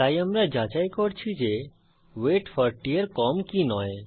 তাই আমরা যাচাই করছি যে ওয়েট 40 এর কম কি নয়